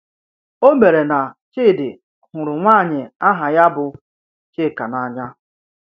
O mere na Chidi hụrụ nwanyị aha ya bụ Chika n’anya.